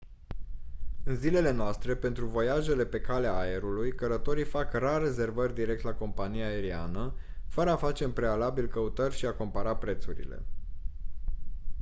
în zilele noastre pentru voiajele pe calea aerului călătorii fac rar rezervări direct la compania aeriană fără a face în prealabil căutări și a compara prețurile